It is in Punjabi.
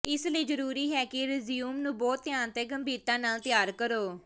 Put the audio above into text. ਇਸ ਲਈ ਜ਼ਰੂਰੀ ਹੈ ਕਿ ਰਜ਼ਿਊਮ ਨੂੰ ਬਹੁਤ ਧਿਆਨ ਤੇ ਗੰਭੀਰਤਾ ਨਾਲ ਤਿਆਰ ਕਰੋ